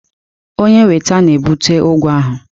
Onye weta na-ebute ụgwọ ahụ.